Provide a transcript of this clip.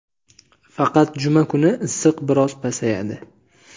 Faqat juma kuni issiq biroz pasayadi.